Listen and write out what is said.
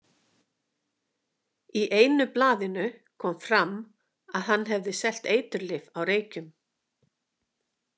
Í einu blaðinu kom fram að hann hefði selt eiturlyf á Reykjum.